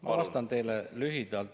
Ma vastan teile lühidalt.